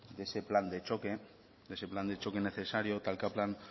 de ese plan de choque de ese plan de choque necesario talka plan